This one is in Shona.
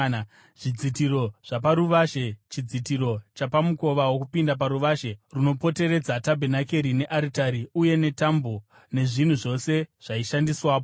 zvidzitiro zvaparuvazhe, chidzitiro chapamukova wokupinda paruvazhe runopoteredza tabhenakeri nearitari, uye netambo, nezvinhu zvose zvaishandiswapo.